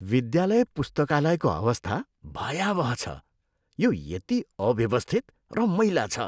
विद्यालय पुस्तकालयको अवस्था भयावह छ, यो यति अव्यवस्थित र मैला छ।